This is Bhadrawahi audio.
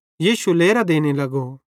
यीशु लेरां देने लगो